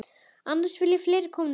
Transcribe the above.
Annars vilja fleiri koma með.